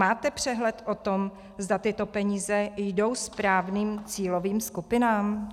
Máte přehled o tom, zda tyto peníze jdou správným cílovým skupinám?